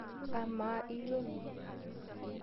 Amaa iyiolo?